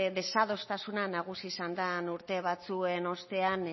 desadostasuna nagusi izan den urte batzuen ostean